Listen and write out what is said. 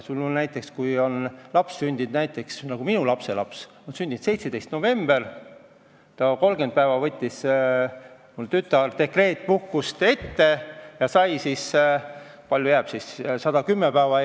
Minu lapselaps on sündinud 17. novembril, 30 päeva võttis mu tütar dekreetpuhkust ette ja sai – kui palju siis jääb?